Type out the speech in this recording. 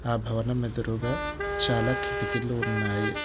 ఆ భవనం ఎదురుగా చాలా కిటికీలు ఉన్నాయి